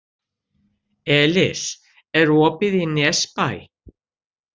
Elis, er opið í Nesbæ?